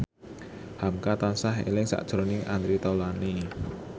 hamka tansah eling sakjroning Andre Taulany